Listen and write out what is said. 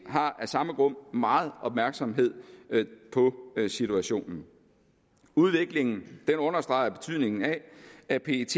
har af samme grund meget opmærksomhed på situationen udviklingen understreger betydningen af at pet